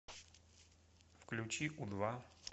включи у два